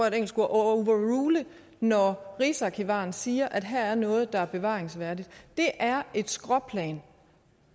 et engelsk ord overrule når rigsarkivaren siger at her er noget der er bevaringsværdigt det er et skråplan